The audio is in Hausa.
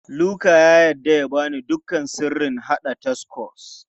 Luka ya yarda ya ba ni duka sirrin haɗa tacos.